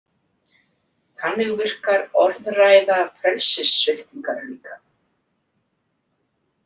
Þannig virkar orðræða frelsissviptingar líka.